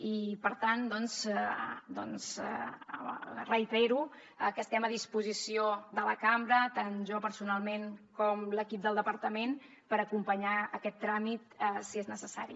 i per tant doncs reitero que estem a disposició de la cambra tant jo personalment com l’equip del departament per acompanyar aquest tràmit si és necessari